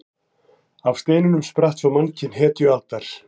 Af steinunum spratt svo mannkyn hetjualdar.